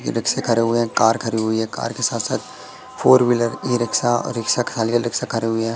ई रिक्शे खड़े हुए हैं कार खड़ी हुई है कार के साथ साथ फोर व्हीलर ई रिक्शा और रिक्शा खाली अलग से खरी हुई है।